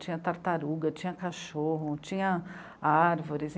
Tinha tartaruga, tinha cachorro, tinha árvores.